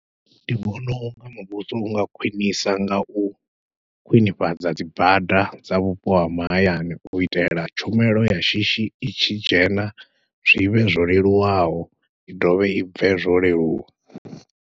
Ndi vhona unga muvhuso unga khwiṋisa ngau khwiṋifhadza dzi bada dza vhupo ha mahayani u itela tshumelo ya shishi i tshi dzhena, zwivhe zwo leluwaho i dovhe i bve zwo leluwa.